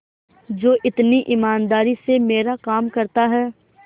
जो इतनी ईमानदारी से मेरा काम करता है